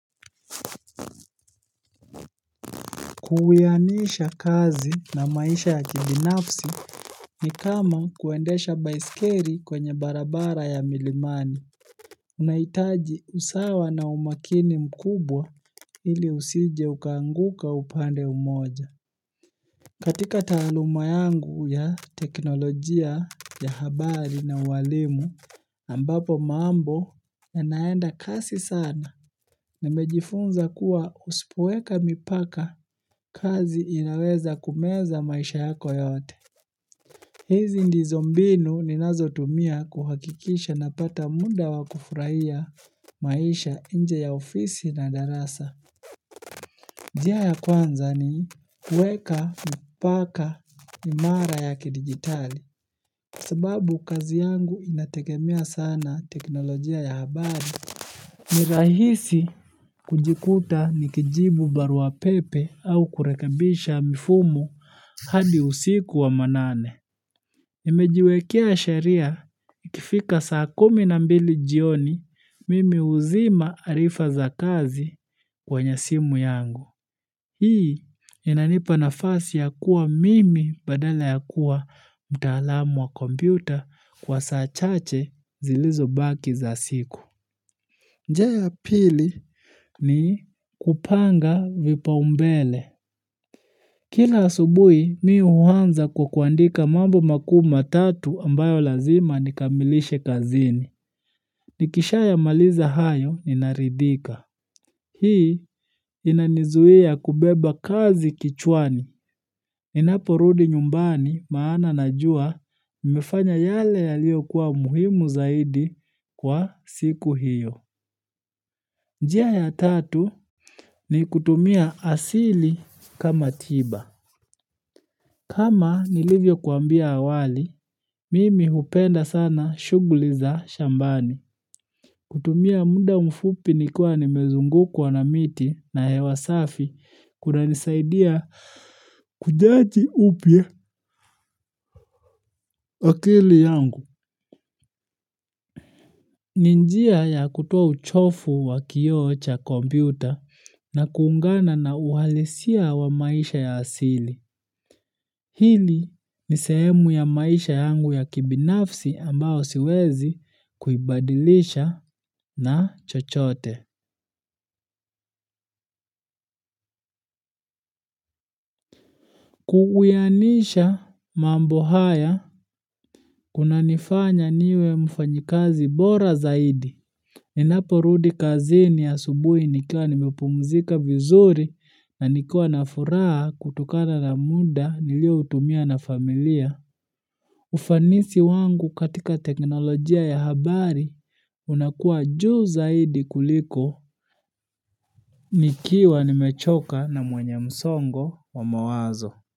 Kuwianisha kazi na maisha ya kibinafsi ni kama kuendesha baiskeli kwenye barabara ya milimani. Unahitaji usawa na umakini mkubwa ili usije uka anguka upande mmoja. Katika taaluma yangu ya teknolojia ya habari na uwalimu, ambapo mambo yanaenda kasi sana nimejifunza kuwa usipoweka mipaka kazi inaweza kumeza maisha yako yote. Hizi ndizo mbinu ninazotumia kuhakikisha napata muda wa kufurahia maisha nje ya ofisi na darasa. Njia ya kwanza ni kuweka mipaka imara ya kidigitali. Sababu kazi yangu inategemea sana teknolojia ya habari. Ni rahisi kujikuta nikijibu barua pepe au kurekebisha mifumo hadi usiku wa manane. Nimejiwekea sheria ikifika saa kumi na mbili jioni mimi huzima arifa za kazi kwenye simu yangu. Hii inanipa nafasi ya kuwa mimi badala ya kuwa mtaalamu wa kompyuta kwa saa chache zilizobaki za siku. Njia ya pili ni kupanga vipaumbele. Kila asubuhi mi huanza kwa kuandika mambo makuu matatu ambayo lazima nikamilishe kazini. Nikisha yamaliza hayo ninaridhika. Hii inanizuia kubeba kazi kichwani. Ninaporudi nyumbani maana najua nimefanya yale yaliokuwa muhimu zaidi kwa siku hio. Njia ya tatu ni kutumia asili kama tiba. Kama nilivyokuambia awali, mimi hupenda sana shughuli za shambani. Kutumia muda mfupi nikiwa nimezungukwa kwa na miti na hewa safi kunanisaidia kujaji upya akili yangu. Ni njia ya kutoa uchovu wa kioo cha kompyuta na kuungana na uhalisia wa maisha ya asili. Hili ni sehemu ya maisha yangu ya kibinafsi ambao siwezi kuibadilisha na chochote. Ku uiwanisha mambo haya kunanifanya niwe mfanyikazi bora zaidi Ninaporudi kazini asubuhi nikiwa nimepumzika vizuri na nikiwa na furaha kutokana na muda niliotumia na familia ufanisi wangu katika teknolojia ya habari unakuwa juu zaidi kuliko nikiwa nimechoka na mwenye msongo wa mawazo.